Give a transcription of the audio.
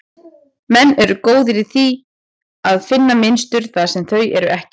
Menn eru góðir í að finna mynstur þar sem þau eru ekki.